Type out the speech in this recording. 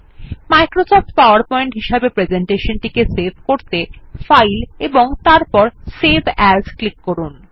Microsoft PowerPoint হিসাবে presentation টি save করতে ফাইল এবং তারপর সেভ এএস ক্লিক করুন